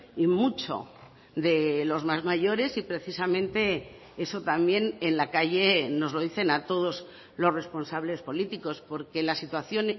y mucho de los más mayores y precisamente eso también en la calle nos lo dicen a todos los responsables políticos porque la situación